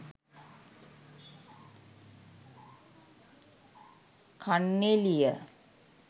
kanneliya